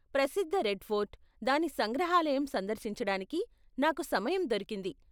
ప్రసిద్ధ Red Fort, దాని సంగ్రహాలయం సందర్శించడానికి నాకు సమయం దొరికింది .